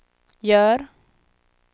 gör